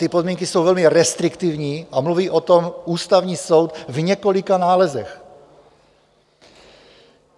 Ty podmínky jsou velmi restriktivní a mluví o tom Ústavní soud v několika nálezech.